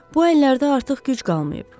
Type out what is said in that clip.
Bu əllərdə artıq güc qalmayıb.